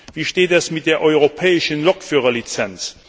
Wie steht es mit der europäischen Lokführerlizenz?